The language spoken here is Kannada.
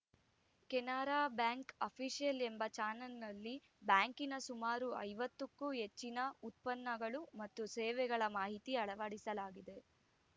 ಕೆನರಾ ಬ್ಯಾಂಕ್‌ ಅಫಿಸಿಯಲ್‌ ಎಂಬ ಚಾನಲ್‌ನಲ್ಲಿ ಬ್ಯಾಂಕಿನ ಸುಮಾರು ಐವತ್ತ ಕ್ಕೂ ಹೆಚ್ಚಿನ ಉತ್ಪನ್ನಗಳು ಮತ್ತು ಸೇವೆಗಳ ಮಾಹಿತಿ ಅಳವಡಿಸಲಾಗಿದೆ